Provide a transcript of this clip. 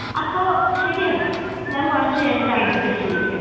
അപ്പോ ശരിയെന്നാ. ഞാൻ കുറച്ച് കഴിഞ്ഞിട്ട് അങ്ങോട്ട് തിരിച്ച് വിളിക്കാം.